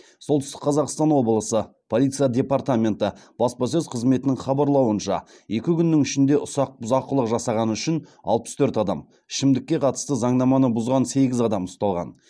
солтүстік қазақстан облысы полиция департаменті баспасөз қызметінің хабарлауынша екі күннің ішінде ұсақ бұзақылық жасағаны үшін алпыс төрт адам ішімдікке қатысты заңнаманы бұзған сегіз адам ұсталған